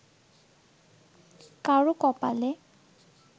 কারো কপালে